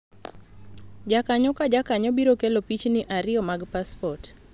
jkakanyo ka jakanyo biro kelo pichni ariyo mag paspot